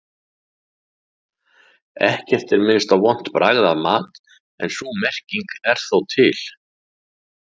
Ekkert er minnst á vont bragð af mat en sú merking er þó til.